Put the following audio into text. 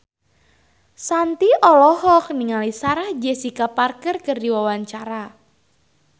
Shanti olohok ningali Sarah Jessica Parker keur diwawancara